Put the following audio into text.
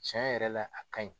Cɛn yɛrɛ la, a ka ɲi.